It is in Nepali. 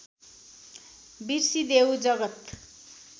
बिर्सिदेऊ जगत्